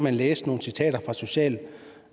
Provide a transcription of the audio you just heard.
i næsen